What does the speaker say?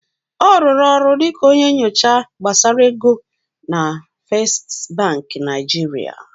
Ọ rụrụ ọrụ dịka onye nyocha gbasara ego na Fesstị Bankị Naịjirịa.